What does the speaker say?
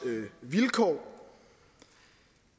vilkår